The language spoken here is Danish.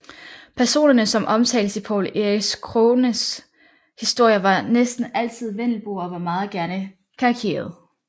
Personerne som omtaltes i Poul Erik Krogens historier var næsten altid vendelboer og var gerne meget karikerede